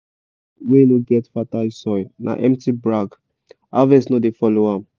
land wey no get fertile soil na empty brag harvest no dey follow am